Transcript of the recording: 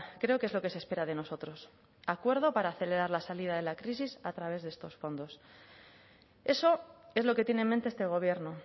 creo que es lo que se espera de nosotros acuerdo para acelerar la salida de la crisis a través de estos fondos eso es lo que tiene en mente este gobierno